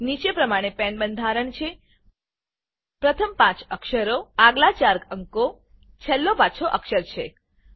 નીચે પ્રમાણે PAN PAN બંધારણ છે પ્રથમ પાંચ અક્ષરો આગલા 4 અંકો છેલ્લો પાછો અક્ષર છે